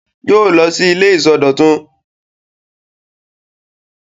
Yóò lọ sí ilé ìsọdọ̀tun!